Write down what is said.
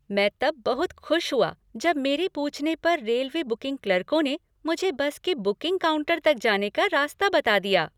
मैं तब बहुत खुश हुआ जब मेरे पूछने पर रेलवे बुकिंग क्लर्कों ने मुझे बस के बुकिंग काउंटर तक जाने का रास्ता बता दिया।